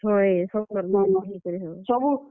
ହଏ ।